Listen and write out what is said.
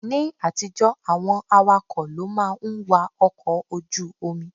Ní àtijọ́, àwọn awakọ̀ ló máa ń wa ọkọ̀ ojú omi.